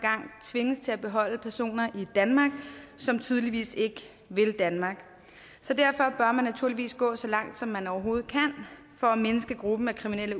tvinges til at beholde personer i danmark som tydeligvis ikke vil danmark så derfor bør man naturligvis gå så langt som man overhovedet kan for at mindske gruppen af kriminelle